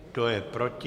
Kdo je proti?